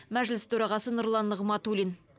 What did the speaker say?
мәжіліс төрағасы нұрлан нығматулин